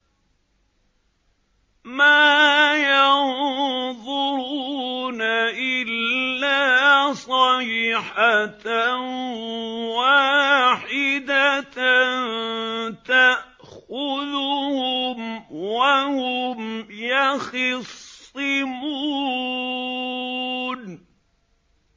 مَا يَنظُرُونَ إِلَّا صَيْحَةً وَاحِدَةً تَأْخُذُهُمْ وَهُمْ يَخِصِّمُونَ